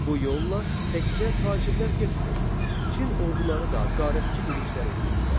Bu yolla təkcə tacirlər getmir, Çin orduları da qarətçi yürüşlər eləyirdilər.